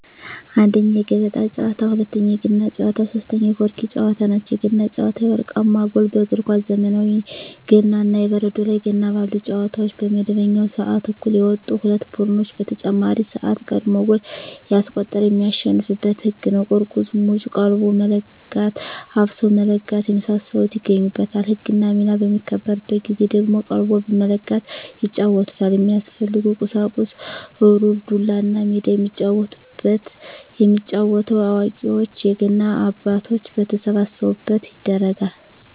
1ኛ, የገበጣ ጨዋታ, 2ኛ, የገና ጨዋታ, 3ኛ የቆርኪ ጨዋታ ናቸው። የገና ጨዋታ የወርቃማ ጎል በእግር ኳስ ዘመናዊ ገና እና የበረዶ ላይ ገና ባሉ ጨዋታዎች በመደበኛው ስዓት እኩል የወጡ ሁለት ቡድኖች በተጨማሪ ስዓት ቀድሞ ጎል ያስቆጠረ የሚያሸንፋበት ህግ ነው ቁርቁዝ ሙጭ ,ቀልቦ መለጋት ,አፍሶ መለጋት የመሳሰሉት ይገኙበታል። ህግና ሚና በሚከበርበት ጊዜ ደግሞ ቀልቦ በመለጋት ይጫወቱታል። የሚያስፈልጉ ቁሳቁስ ሩር, ዱላ, እና ሜዳ የሚጫወቱበት። የሚጫወተው አዋቂዎች የገና አባቶች በተሰበሰቡበት ይደረጋል።